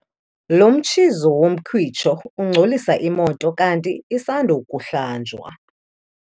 Lo mtshizo womkhwitsho ungcolisa imoto kanti isandokuhlanjwa.